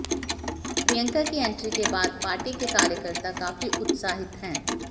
प्रियंका की एंट्री के बाद पार्टी के कार्यकर्ता काफी उत्साहित हैं